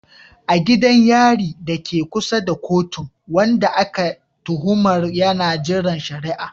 A gidan yari dake kusa da kotun, wanda ake tuhumar yana jiran shari'a.